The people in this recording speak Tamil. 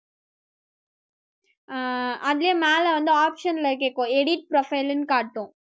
அஹ் அதுலயும் மேல வந்து option ல கேக்கும் edit profile ன்னு காட்டும்